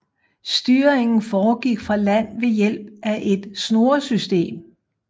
Styringen foregik fra land ved hjælp af et snoresytem